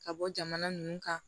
Ka bɔ jamana ninnu kan